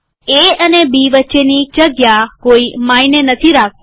એ અને બી વચ્ચેની જગ્યા કોઈ માયને નથી રાખતી